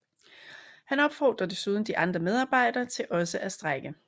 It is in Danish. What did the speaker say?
Han opfordrer desuden de andre medarbejdere til også at strejke